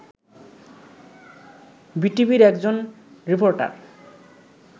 বিটিভির একজন রিপোর্টার